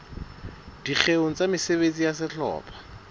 dikgeong tsa mesebetsi ya sehlopha